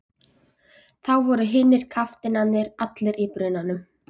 Þá voru hinir kafteinarnir allir í brunanum.